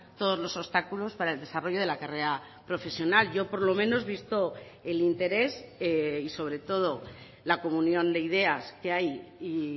todos los obstáculos para el desarrollo de la carrera profesional yo por lo menos visto el interés y sobre todo la comunión de ideas que hay y